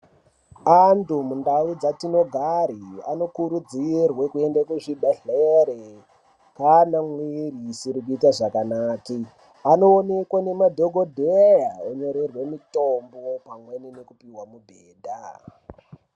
Antu mundau dzatinogari anokurudzirwe kuende kuzvibhedhleri kana mwiri isiri kuite zvakanake anoonekwe nemadhokodhee onyorerwe mutombo pamweni nokupiwa mubhedha.